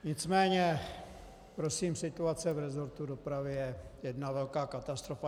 Nicméně prosím, situace v resortu dopravy je jedna velká katastrofa.